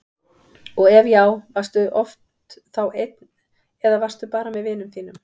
og ef já, varstu oft þá einn eða varstu bara með vinum þínum?